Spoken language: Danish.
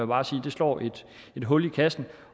bare sige slår et hul i kassen